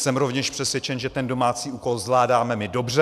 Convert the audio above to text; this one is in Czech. Jsem rovněž přesvědčen, že ten domácí úkol zvládáme my dobře.